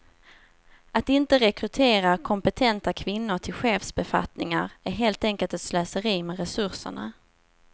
Att inte rekrytera kompetenta kvinnor till chefsbefattningar är helt enkelt ett slöseri med resurserna.